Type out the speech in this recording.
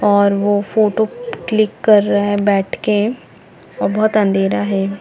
और वो photo click कर रहा है बैठ के और बहोत अंधेरा है।